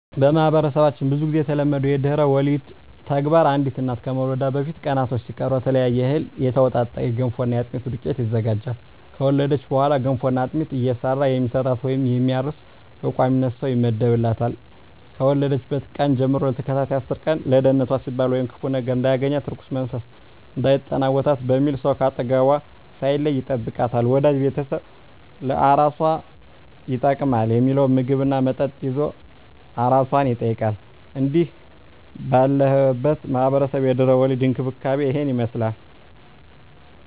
በማህበረሰባችን ብዙ ግዜ የተለመደው የድህረ ወሊድ ተግባር አንዲት እናት ከመውለዷ በፊት ቀናቶች ሲቀሩ ከተለያየ እህል የተውጣጣ የገንፎና የአጥሚት ዱቄት ይዘጋጃል። ከወለደች በኋላ ገንፎና አጥሚት እየሰራ የሚሰጣት ወይም የሚያርስ በቋሚነት ሰው ይመደብላታል፣ ከወለደችበት ቀን ጀም ለተከታታይ አስር ቀን ለደንነቷ ሲባል ወይም ክፉ ነገር እንዳያገኛት(እርኩስ መንፈስ እንዳይጠናወታት) በሚል ሰው ከአጠገቧ ሳይለይ ይጠብቃታል፣ ወዳጅ ቤተሰብ ለአራሷ ይጠቅማል ሚለውን ምግብ እና መጠጥ ይዞ አራሷን ይጠይቃል። እንግዲህ ባለሁበት ማህበረሰብ የድህረ ወሊድ እንክብካቤ እሂን ይመስላል።